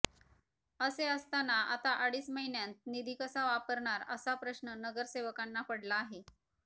असे असताना आता अडीच महिन्यांत निधी कसा वापरणार असा प्रश्न नगरसेवकांना पडला आहे